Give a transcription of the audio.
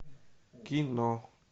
кино